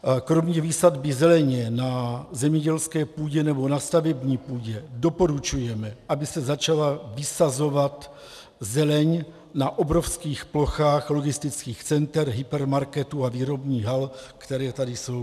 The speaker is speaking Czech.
Kromě výsadby zeleně na zemědělské půdě nebo na stavební půdě doporučujeme, aby se začala vysazovat zeleň na obrovských plochách logistických center, hypermarketů a výrobních hal, které tady jsou.